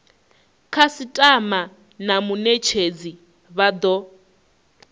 khasitama na munetshedzi vha do